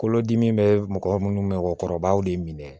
Kolodimi bɛ mɔgɔ minnu mɔgɔkɔrɔbaw de minɛ